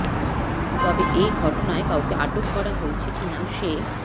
তবে এ ঘটনায় কাউকে আটক করা হয়েছে কিনা সে